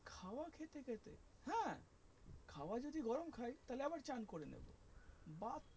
খাওয়ার যদি গরম খাই আবার চান করে নেবো বা,